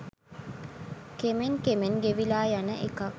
කෙමෙන් කෙමෙන් ගෙවිලා යන එකක්.